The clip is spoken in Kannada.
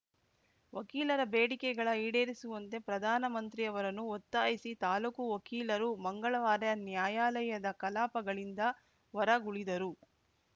ವಕೀಲರ ಬೇಡಿಕೆಗಳ ಈಡೇರಿಸುವಂತೆ ಪ್ರಧಾನಮಂತ್ರಿ ಅವರನ್ನು ಒತ್ತಾಯಿಸಿ ತಾಲೂಕು ವಕೀಲರು ಮಂಗಳವಾರ ನ್ಯಾಯಾಲಯದ ಕಲಾಪಗಳಿಂದ ಹೊರಗುಳಿದರು